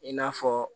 I n'a fɔ